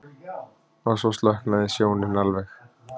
En svo slokknaði sjónin alveg.